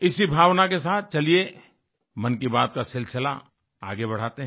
इसी भावना के साथ चलिए मन की बात का सिलसिला आगे बढ़ाते हैं